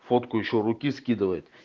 фотку ещё руки скидывает